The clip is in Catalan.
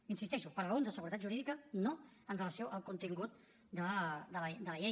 hi insisteixo per raons de seguretat jurídica no amb relació al contingut de la llei